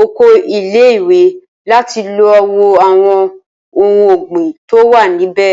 okò ile iwe láti lo wo àwon ohun ògbìn tó wà níbè